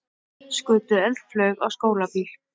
Skutu eldflaug á skólabíl